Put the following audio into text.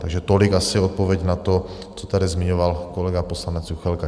Takže tolik asi odpověď na to, co tady zmiňoval kolega poslanec Juchelka.